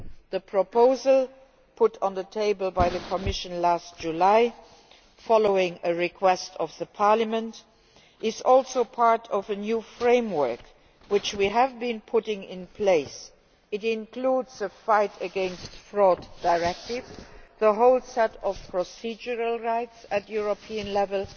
The proposal put on the table by the Commission last July, following a request from Parliament, is also part of a new framework which we have been putting in place. It includes the anti fraud directive and the whole set of procedural rights at European level,